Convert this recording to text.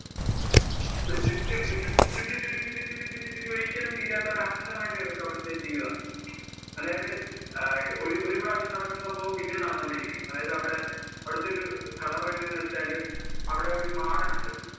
ഒരു ചുറ്റും ചുറ്റി ചുറ്റി ചുറ്റി ഒരിക്കലും തീരാത്ത പോലെ അനന്തമായിട്ട് കിടക്കുവാ അവിടുത്തെ ജീവിതം. അതായത് അഹ് ഒരു പ്രാവശ്യം നടക്കുന്ന സംഭവം പിന്നേം നടന്നുകൊണ്ട് ഇരിക്കും. അതായത് അവിടെ അവിടത്തെ ഒരു കഥ പറയുന്നത് എന്ന് വെച്ചാല് അവിടെ ഒരു മാടൻ ഉണ്ട്.